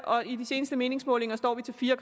og i de seneste meningsmålinger står vi til fire